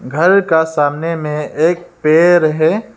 घर का सामने में एक पेड़ है।